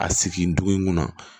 A sigi dugu in kɔnɔ